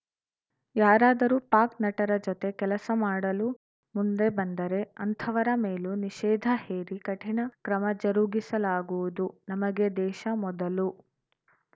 ಯಾರಾದರೂ ಪಾಕ್‌ ನಟರ ಜತೆ ಕೆಲಸ ಮಾಡಲು ಮುಂದೆ ಬಂದರೆ ಅಂಥವರ ಮೇಲೂ ನಿಷೇಧ ಹೇರಿ ಕಠಿಣ ಕ್ರಮ ಜರುಗಿಸಲಾಗುವುದು ನಮಗೆ ದೇಶ ಮೊದಲು